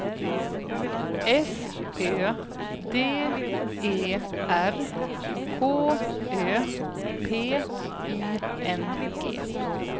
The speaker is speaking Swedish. S Ö D E R K Ö P I N G